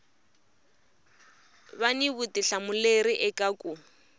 va ni vutihlamuleri eka ku